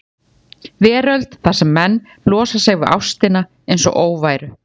veröld þar sem menn losa sig við ástina einsog óværu.